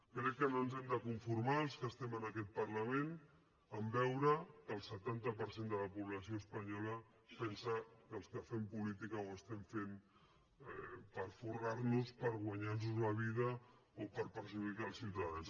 crec que no ens hem de conformar els que estem en aquest parlament a veure que el setanta per cent de la població espanyola pensa que els que fem política ho estem fent per forrar nos per guanyar nos la vida o per perjudicar els ciutadans